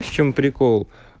в чем прикол